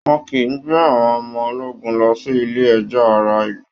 wọn kìí gbé àwọn ọmọ ológun lọ sí ilé ẹjọ́ ará ìlú